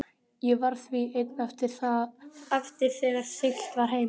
Ég varð því einn eftir þegar siglt var heim.